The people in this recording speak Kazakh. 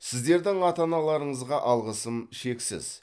сіздердің ата аналарыңызға алғысым шексіз